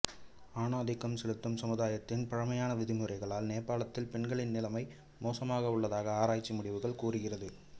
ஆண் ஆதிக்கம் செலுத்தும் சமுதாயத்தின் பழமையான விதிமுறைகளால் நேபாளத்தில் பெண்களின் நிலைமை மோசமாக உள்ளதாக ஆராய்ச்சி முடிவுகள் கூறுகிறது